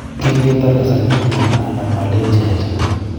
kin ketar kasar kiten anam olenji "acha".